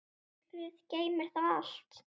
Myrkrið geymir það allt.